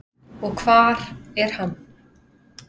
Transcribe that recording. Og hvar er hann?